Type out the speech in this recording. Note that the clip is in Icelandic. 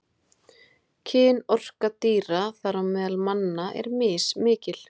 Kynorka dýra, þar á meðal manna, er mismikil.